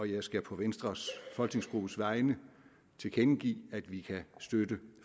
jeg skal på venstres folketingsgruppes vegne tilkendegive at vi kan støtte